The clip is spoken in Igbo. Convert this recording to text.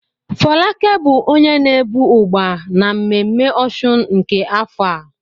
Folake bụ onye na-ebu Ugba na mmemme òsùn nke afọ a.